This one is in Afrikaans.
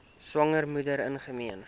swanger moeder ingeneem